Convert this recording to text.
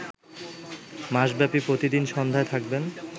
মাসব্যাপী প্রতিদিন সন্ধ্যায় থাকবে